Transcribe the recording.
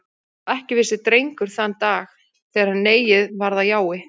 Og ekki vissi Drengur þann dag, þegar neiið varð að jái.